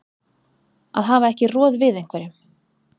Að hafa ekki roð við einhverjum